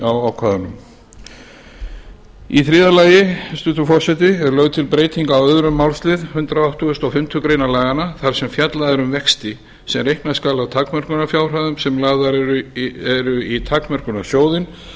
á ákvæðunum í þriðja lagi hæstvirtur forseti er lögð til breyting á öðrum málslið hundrað áttugustu og fimmtu grein laganna þar sem fjallað er um vexti sem reikna skal af takmörkunarfjárhæðum sem lagðar eru í takmörkunarsjóðinn